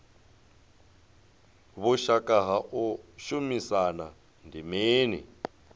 vhushaka ha u shumisana ndi mini